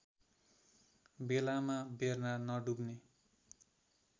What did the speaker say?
बेलामा बेर्ना नडुब्ने